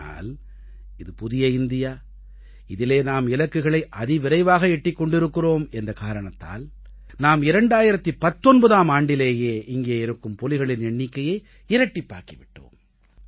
ஆனால் இது புதிய இந்தியா இதிலே நாம் இலக்குகளை அதிவிரைவாக எட்டிக் கொண்டிருக்கிறோம் என்ற காரணத்தால் நாம் 2019ஆம் ஆண்டிலேயே இங்கே இருக்கும் புலிகளின் எண்ணிக்கையை இரட்டிப்பாக்கி விட்டோம்